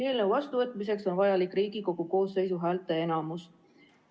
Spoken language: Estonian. Eelnõu vastuvõtmiseks on vajalik Riigikogu koosseisu häälteenamus.